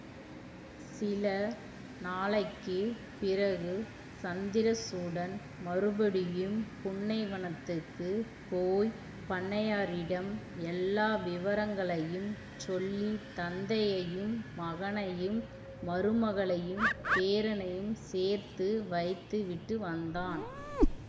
சில நாளைக்கு பிறகு சந்திரசூடன் மறுபடியும் புன்னைவனத்துக்குப் போய் பண்ணையாரிடம் எல்லா விவரங்களையும் சொல்லி தந்தையையும் மகனையும் மருமகளையும் பேரனையும் சேர்த்து வைத்து விட்டு வந்தான்